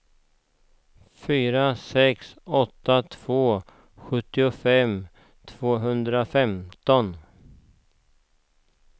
fyra sex åtta två sjuttiofem tvåhundrafemton